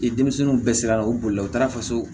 Ni denmisɛnninw bɛɛ sera ka u bolila u taara faso